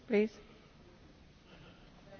Thank you for very much for this question.